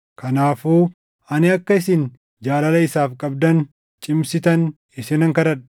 Kanaafuu ani akka isin jaalala isaaf qabdan cimsitan isinan kadhadha.